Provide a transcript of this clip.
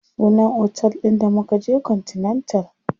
Sunan otel ɗin da mukaje continental.